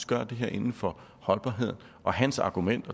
gøre det her inden for holdbarhed hans argument